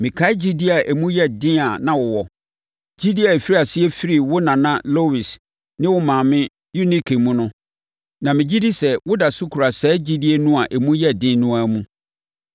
Mekae gyidie a emu yɛ den a na wowɔ, gyidie a ɛfirii aseɛ firii wo nana Lois ne wo maame Eunike mu no, na megye di sɛ woda so kura saa gyidie no a emu yɛ den no ara mu.